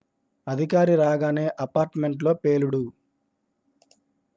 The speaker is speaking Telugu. అధికారి రాగానే అపార్ట్ మెంట్ లో పేలుడు